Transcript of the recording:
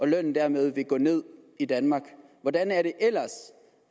lønnen dermed går ned i danmark hvordan